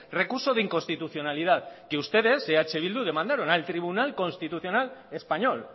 recurso de inconstitucionalidad que ustedes eh bildu demandaron al tribunal constitucional español